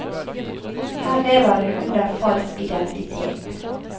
Her lever hun under falsk identitet.